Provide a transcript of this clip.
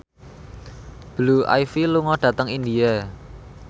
Blue Ivy lunga dhateng India